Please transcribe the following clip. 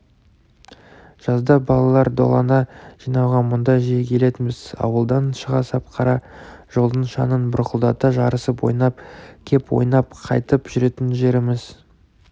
жазда балалар долана жинауға мұнда жиі келетінбіз ауылдан шыға сап қара жолдың шаңын бұрқылдата жарысып ойнап кеп ойнап қайтып жүретін жеріміз